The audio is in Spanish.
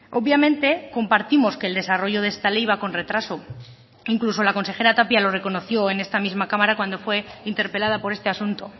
obviamente compartimos que el desarrollo de esta ley va con retraso incluso la consejera tapia lo reconoció en esta misma cámara cuando fue interpelada por este asunto